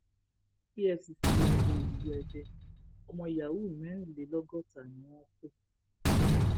efcc ya bo ilú ède ọmọ yahoo mẹrìnlélọgọta ni wọn kọ